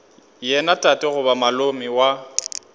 yena tate goba malome wa